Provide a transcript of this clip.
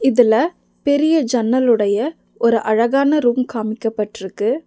இதுல பெரிய ஜன்னலுடைய ஒரு அழகான ரூம் காமிக்கப்பட்ருக்கு.